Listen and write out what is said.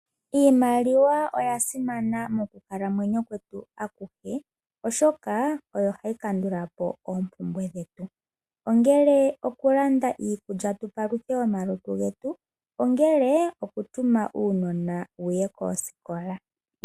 Iimaliwa oya simana mokukalamwenyo kwetu akuhe, oshoka oyo hayi kandula po oompumbwe dhetu, ongele okulanda iikulya tu paluthe omalutu getu, ongele okutuma uunona wu ye koosikola.